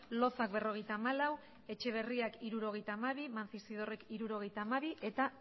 loza berrogeita hamalau etxeberrira hirurogeita hamabi mancisidorrek hirurogeita hamabi eta